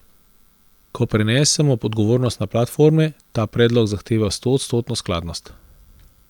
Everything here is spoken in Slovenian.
Ko prenesemo odgovornost na platforme, ta predlog zahteva stoodstotno skladnost.